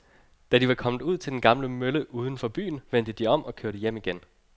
Da de var kommet ud til den gamle mølle uden for byen, vendte de om og kørte hjem igen.